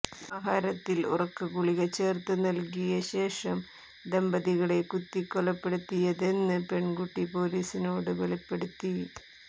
ആഹാരത്തിൽ ഉറക്ക ഗുളിക ചേർത്ത് നൽകിയ ശേഷം ദമ്പതികളെ കുത്തികൊലപ്പെടുത്തിയതെന്ന് പെൺകുട്ടി പോലീസിനോട് വെളിപ്പെടുത്തി